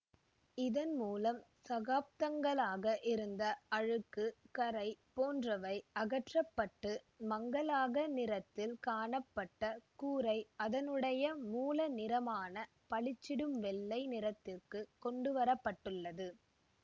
இதன் மூலம் சகாப்தங்களாக இருந்த அழுக்கு கறை போன்றவை அகற்ற பட்டு மங்களாக நிறத்தில் காணப்பட்ட கூரை அதனுடைய மூல நிறமான பளிச்சிடும் வெள்ளை நிறத்திற்கு கொண்டு வர பட்டுள்ளது